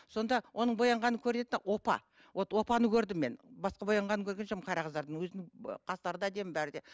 сонда оның боянғаны көрінеді де опа вот опаны көрдім мен басқа боянғанын көрген жоқпын қара қыздардың өзінің қастары да әдемі бәрі де